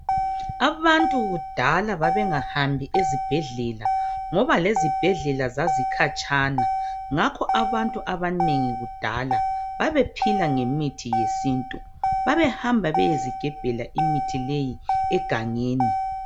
Abantu kudala babengahambi esibhedlela ngoba lezibhedlela zazikhatshana. Ngakho abantu abanengi kudala babephila ngemithi yesintu. Babehamba beyezigebhela imithi leyi egangeni.